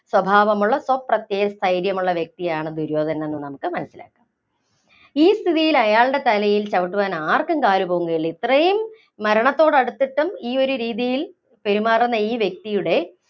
സ്വഭാവമുള്ള സ്വപ്രത്യയ സ്ഥൈര്യമുള്ള വ്യക്തിയാണ് ദുര്യോധനൻ എന്ന് നമുക്ക് മനസ്സിലാക്കാം. ഈ സ്ഥിതിയില്‍ അയാളുടെ തലയില്‍ ചവിട്ടുവാന്‍ ആര്‍ക്കും കാല് പൊങ്ങുകയില്ല. ഇത്രയും മരണത്തോടടുത്തിട്ടും ഈ ഒരു രീതിയില്‍ പെരുമാറുന്ന ഈ വ്യക്തിയുടെ